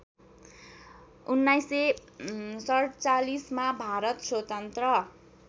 १९४७ मा भारत स्वतन्त्र